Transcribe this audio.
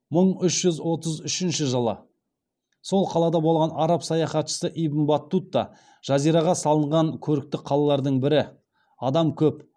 жазираға салынған көрікті қалалардың бірі адам көп